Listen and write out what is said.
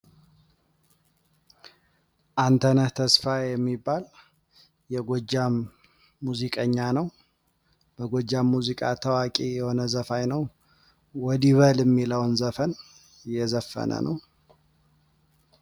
ሙዚቃ በልጆች አስተዳደግ ላይ ትልቅ ሚና በመጫወት የፈጠራ አስተሳሰባቸውን ያዳብራል እንዲሁም ስሜታቸውን በአግባቡ እንዲቆጣጠሩ ይረዳል።